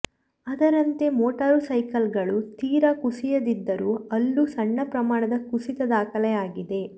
ಅದರಂತೆ ಮೋಟಾರು ಸೈಕಲ್ಗಳು ತೀರಾ ಕುಸಿಯದಿದ್ದರೂ ಅಲ್ಲೂ ಸಣ್ಣ ಪ್ರಮಾಣದ ಕುಸಿತ ದಾಖಲಾಗಿದೆ